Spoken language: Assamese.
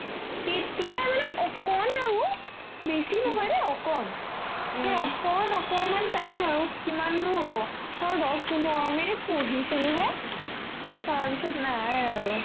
তেতিয়া মানে অকন আৰু বেছি নহয় দে অকন সেই অকন অকনমান time আৰু কিমানো হ'ব ধৰ পোন্ধৰ-বিশ minute পঢ়িছিলোহে তাৰপিছত নাই আৰু